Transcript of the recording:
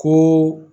Ko